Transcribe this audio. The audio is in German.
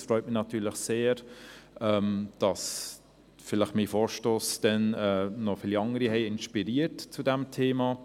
Es freut mich natürlich sehr, dass mein Vorstoss vielleicht auch noch andere für dieses Thema inspiriert hat.